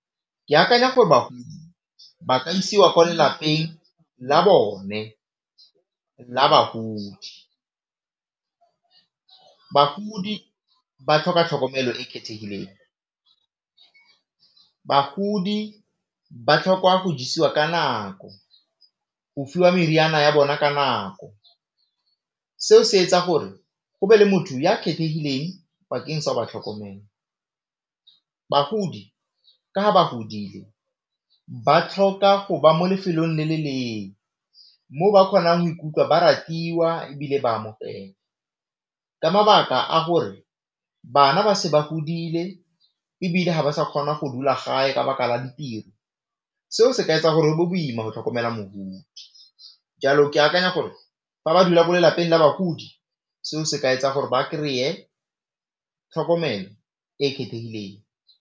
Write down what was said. Ke akanya gore bagodi ba ka isiwa ko lelapeng la bone la bagodi. Bagodi ba tlhoka tlhokomelo e e kgethegileng, bagodi ba tlhokwa go jisiwa ka nako, go fiwa meriana ya bona ka nako, seo se etsa gore go be le motho ya kgethegileng bakeng sa go ba tlhokomela. Bagodi ka ga ba godile ba tlhoka go ba mo lefelong le le lengwe, mo ba kgonang go ikutlwa ba ratiwa ebile ba amogelwa ka mabaka a gore bana ba se ba godile ebile ga ba sa kgona go dula gae ka baka la ditiro, seo se ka etsa gore boima go tlhokomela mogodi jalo ke akanya gore fa ba dula mo lelapeng la bagodi seo se ka etsa gore ba kry-e tlhokomelo e e kgethegileng.